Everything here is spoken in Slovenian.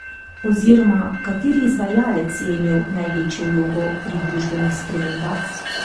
Oziroma, kateri izvajalec je imel največjo vlogo pri družbenih spremembah?